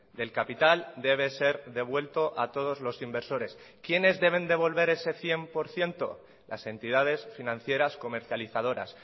del capital debe ser devuelto a todos los inversores quiénes deben devolver ese cien por ciento las entidades financieras comercializadoras